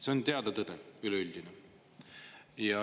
See on üleüldiselt teada tõde.